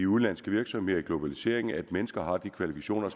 udenlandske virksomheder i globaliseringen at mennesker har de kvalifikationer